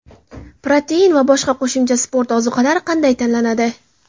Protein va boshqa qo‘shimcha sport ozuqalari qanday tanlanadi?.